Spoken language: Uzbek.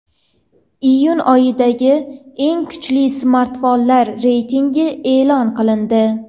Iyun oyidagi eng kuchli smartfonlar reytingi e’lon qilindi.